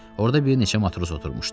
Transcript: Orda bir neçə matros oturmuşdu.